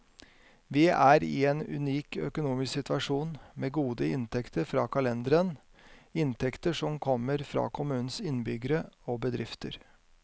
Vi er i en unik økonomisk situasjon, med gode inntekter fra kalenderen, inntekter som kommer fra kommunens innbyggere og bedrifter.